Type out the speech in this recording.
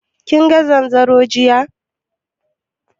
Kinga zanzaron jiya?